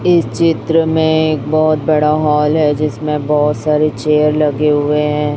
इस चित्र में एक बहोत बड़ा हाल हॉल है जिसमें बहोत सारी चेयर लगे हुए हैं।